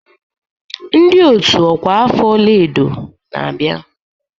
Ndị ọ́tù ọkwa afọ ọlaedo na-abịa.